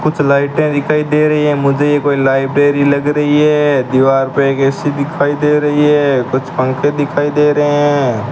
कुछ लाइटें दिखाई दे रही हैं मुझे ये कोई लाइब्रेरी लग रही है दीवार पे एक ए_सी दिखाई दे रही है कुछ पंखे दिखाई दे रहे हैं।